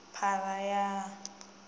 phara ya a a i